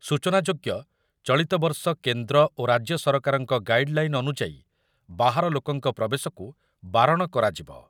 ସୂଚନାଯୋଗ୍ୟ ଚଳିତ ବର୍ଷ କେନ୍ଦ୍ର ଓ ରାଜ୍ୟ ସରକାରଙ୍କ ଗାଇଡଲାଇନ୍‌ ଅନୁଯାୟୀ ବାହାର ଲୋକଙ୍କ ପ୍ରବେଶକୁ ବାରଣ କରାଯିବ।